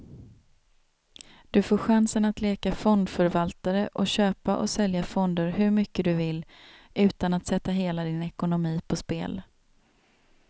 Du får chansen att leka fondförvaltare och köpa och sälja fonder hur mycket du vill, utan att sätta hela din ekonomi på spel.